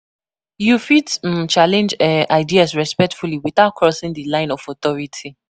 You fit um challenge um ideas respectfully without crossing di line of authority.